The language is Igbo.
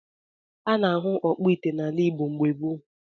A na-ahụ ọkpụ ite n’ala Igbo mgbe gboo